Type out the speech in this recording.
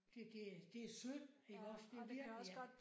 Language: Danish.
Det det det det synd iggås det virkelig ja